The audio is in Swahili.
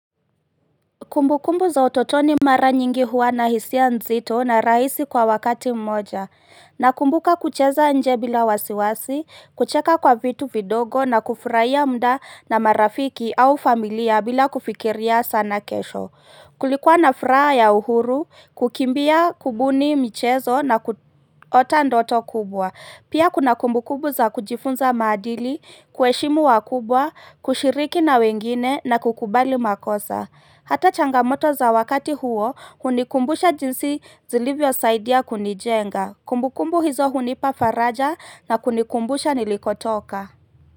Kumbukumbu za utotoni mara nyingi huwa na hisia nzito na raisi kwa wakati mmoja Nakumbuka kucheza nje bila wasiwasi, kucheka kwa vitu vidogo na kufuraiya mda na marafiki au familia bila kufikiria sana kesho Kulikuwa na furaha ya uhuru, kukimbia kubuni michezo na kuota ndoto kubwa Pia kuna kumbu kubu za kujifunza maadili, kueshimu wakubwa, kushiriki na wengine na kukubali makosa Hata changamoto za wakati huo hunikumbusha jinsi zilivyosaidia kunijenga. Kumbukumbu hizo hunipa faraja na kunikumbusha nilikotoka.